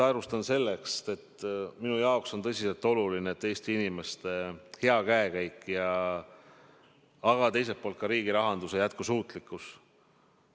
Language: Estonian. Ma alustan sellest, et minu jaoks on tõsiselt oluline Eesti inimeste hea käekäik, aga teiselt poolt ka riigi rahanduse jätkusuutlikkus.